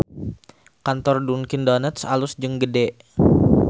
Kantor Dunkin Donuts alus jeung gede